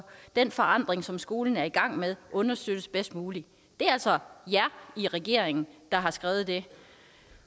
den forandring som skolen er i gang med understøttes bedst muligt det er altså jer i regeringen der har skrevet det